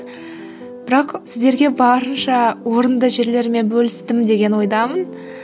бірақ сіздерге барынша орынды жерлермен бөлістім деген ойдамын